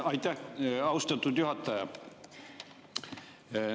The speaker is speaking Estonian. Aitäh, austatud juhataja!